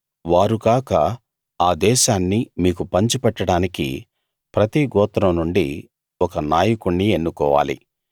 వారు కాక ఆ దేశాన్ని మీకు పంచిపెట్టడానికి ప్రతి గోత్రం నుండి ఒక్క నాయకుణ్ణి ఎన్నుకోవాలి